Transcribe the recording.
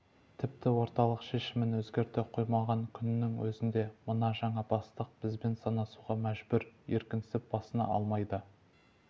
тіпті орталық шешімін өзгерте қоймаған күнінің өзінде мына жаңа бастық бізбен санасуға мәжбүр еркінсіп басына алмайды